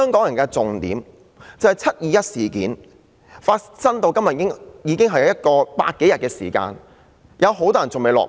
然而，重點是"七二一"事件至今已有百多天，有很多人尚未落網。